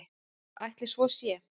En ætli svo sé?